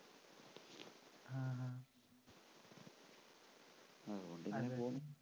അതുകൊണ്ട്‌ ഞാനങ്ങു പോവും.